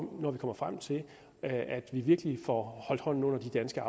når vi kommer frem til virkelig at få holdt hånden under den danske